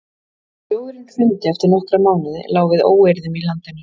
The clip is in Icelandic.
Þegar sjóðurinn hrundi eftir nokkra mánuði lá við óeirðum í landinu.